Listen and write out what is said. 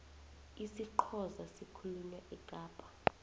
isixhosa sikhulunywa ekapa